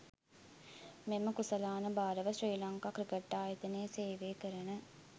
මෙම කුසලාන භාරව ශ්‍රී ලංකා ක්‍රිකට්‌ ආයතනයේ සේවය කරන